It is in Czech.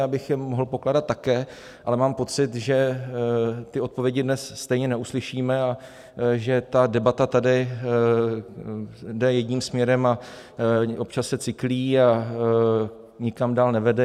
Já bych je mohl pokládat také, ale mám pocit, že ty odpovědi dnes stejně neuslyšíme a že ta debata tady jde jedním směrem a občas se cyklí a nikam dál nevede.